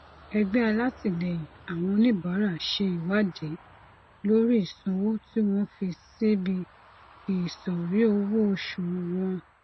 ẹgbẹ alátìlẹyìn àwọn oníbàárà ṣe ìwádìí lórí ìsanwó tí wọn fi síbi ìsòrí owó oṣù wọn